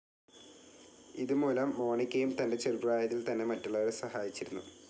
ഇത് മൂലം മോണിക്കയും തൻ്റെചെറുപ്രായത്തിൽ തന്നെ മറ്റുള്ളവരെ സഹായിച്ചിരുന്നു.